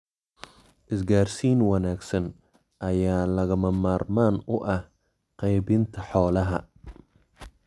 Isgaarsiin wanaagsan ayaa lagama maarmaan u ah qaybinta xoolaha.